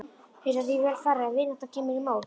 Er því þá vel varið ef vinátta kemur í mót.